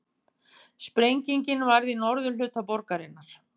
Sprengingin varð í norðurhluta borgarinnar